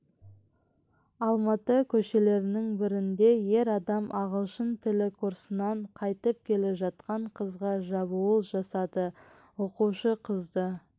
алматы көшелерінің бірінде ер адам ағылшын тілі курсынан қайтып келе жатқан қызға шабуыл жасады оқушы қызды